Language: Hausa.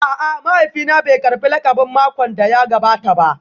A'a, mahaifina bai karbi lakabin makon da ya gabata ba